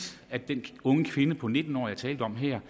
at den unge kvinde på nitten år jeg talte om her